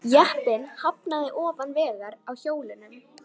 Jeppinn hafnaði ofan vegar á hjólunum